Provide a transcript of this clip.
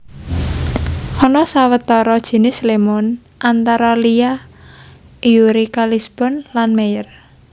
Ana sawetara jinis lémon antara liya Eureka Lisbon lan Meyer